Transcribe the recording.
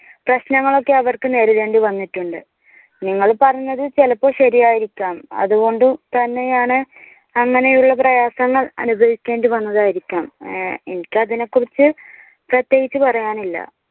പ്രശ്നങ്ങൾ ഒക്കെ അവർക്ക് നേരിടേണ്ടി വന്നിട്ടുണ്ട്. നിങ്ങൾ പറഞ്ഞത് ചിലപ്പോൾ ശരിയായിരിക്കാം. അതുകൊണ്ട് തന്നെയാണ് അങ്ങനെയുള്ള പ്രയാസങ്ങൾ അനുഭവിക്കേണ്ടി വന്നതായിരിക്കാം. എനിക്ക് അതിനെക്കുറിച്ച് പ്രത്യേകിച്ച് പറയാനില്ല.